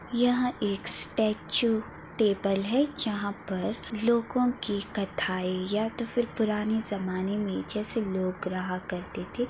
यह एक statue table है जहाँ पर लोगों की कथाएं या तो फिर पुराने ज़माने में जैसे लोग रहा करते थे।